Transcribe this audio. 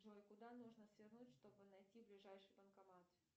джой куда нужно свернуть чтобы найти ближайший банкомат